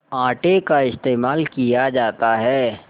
आटे का इस्तेमाल किया जाता है